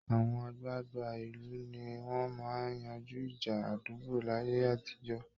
Àwọn àgbàgbà ìlú ni wọ́n máa ń yanjú ìjà àdúgbò láyé àtijọ́